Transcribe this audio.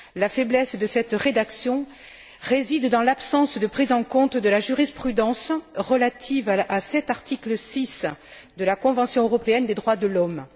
La faiblesse de cette rédaction réside dans l'absence de prise en compte de la jurisprudence relative à cet article 6 de la Convention européenne des droits de l'homme.